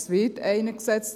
Es wird einer gesetzt.